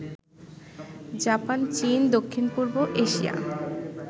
Japan, চীন, দক্ষিণ পূর্ব এশিয়া